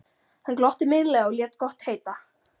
Hann glotti meinlega og lét gott heita.